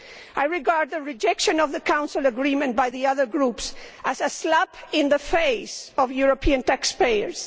I regard the rejection of the Council agreement by the other groups as a slap in the face of European taxpayers.